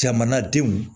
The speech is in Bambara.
Jamanadenw